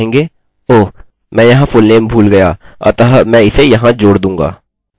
हमें इन सबकी आवश्यकता होगी